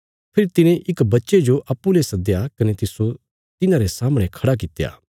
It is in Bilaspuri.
फेरी तिने इक बच्चे जो अप्पूँ ले सद्दया कने तिस्सो तिन्हारे सामणे खड़ा कित्या